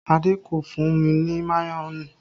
Adé kò fún mi ní mayonẹ